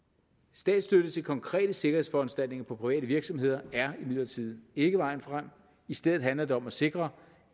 statsstøtte til konkrete sikkerhedsforanstaltninger på private virksomheder er imidlertid ikke vejen frem i stedet handler det om at sikre